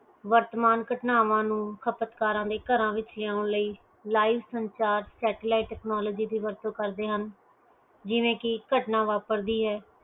ਵਰਤਮਾਨ ਘਟਨਾਵਾਂ ਨੂੰ ਖਪਤਕਾਰਾਂ ਦੇ ਘਰ ਵਿਚ ਲਿਉਂਣ ਲਈ live ਸੰਸਾਰ satellite technology ਦੀ ਵਰਤੋਂ ਕਰਦੇ ਹਨ ਜਿਵੇਂ ਕਿ ਘਟਨਾ ਵਾਪਰਦੀ ਹੈ